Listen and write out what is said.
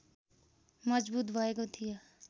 मजबुत भएको थियो